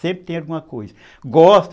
Sempre tem alguma coisa. Gosto